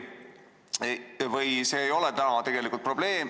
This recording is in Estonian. Või see ei ole probleem?